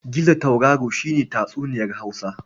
Gizo tauraro ne a tatsuniyar Hausa.